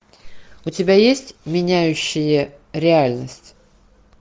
у тебя есть меняющие реальность